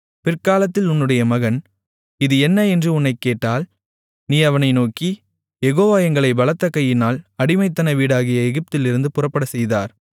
பிற்காலத்தில் உன்னுடைய மகன் இது என்ன என்று உன்னைக் கேட்டால் நீ அவனை நோக்கி யெகோவா எங்களைப் பலத்த கையினால் அடிமைத்தன வீடாகிய எகிப்திலிருந்து புறப்படச்செய்தார்